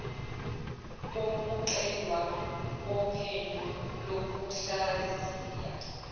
kokuqedwa kophenyo lokuhlaziya